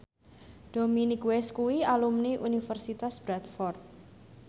Dominic West kuwi alumni Universitas Bradford